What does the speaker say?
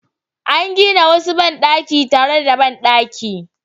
An gina wasu bandaki tare da bandaki